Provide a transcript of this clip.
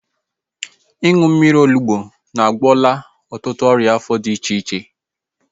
Ịṅụ mmiri onugbu agwọla ọtụtụ ọrịa afọ dị iche iche